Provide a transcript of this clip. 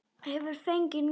Hefur fengið nóg!